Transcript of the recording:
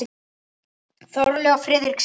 Þórlaug og Friðrik skildu.